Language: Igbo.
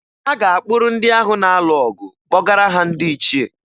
A ga-akpụrụ ndị ahụ na-alụ ọgụ kpọgara ha ndị ichié